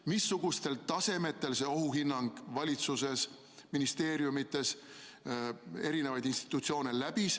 Ja missuguseid tasemeid see ohuhinnang valitsuses või ministeeriumides läbis?